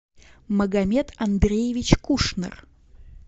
магомед андреевич кушнер